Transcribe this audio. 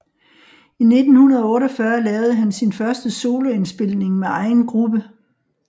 I 1948 lavede han sin første solo indspilning med egen gruppe